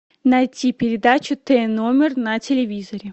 найти передачу т номер на телевизоре